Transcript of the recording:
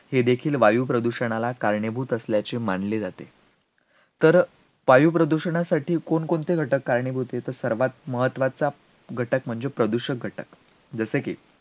हे देखील वायुप्रदूषणाला कारणीभूत असल्याचे मानले जाते, तर वायुप्रदूषणासाठी कोण कोणते घटक कारणीभूत आहेत, सर्वात महत्त्वाचा घटक म्हणजे प्रदूषक घटक, जसे की,